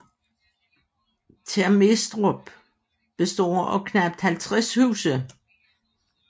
Termestrup består af knapt 50 huse